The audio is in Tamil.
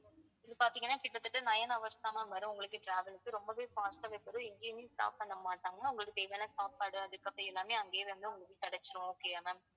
இது பார்த்தீங்கன்னா கிட்டத்தட்ட nine hours தான் ma'am வரும் உங்களுக்கு travel க்கு ரொம்பவே fast ஆவே போகும் எங்கேயுமே stop பண்ண மாட்டாங்க உங்களுக்கு தேவையான சாப்பாடு அதுக்கப்புறம் எல்லாமே அங்கேயே வந்து உங்களுக்கு கிடைச்சுரும் okay யா ma'am